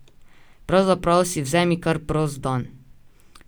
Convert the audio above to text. Pravzaprav si vzemi kar prost dan.